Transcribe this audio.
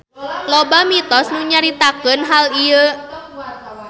Loba mitos nu nyaritakeun hal ieu.